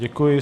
Děkuji.